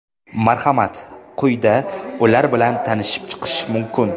Marhamat, quyida ular bilan tanishib chiqish mumkin.